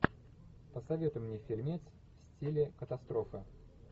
посоветуй мне фильмец в стиле катастрофа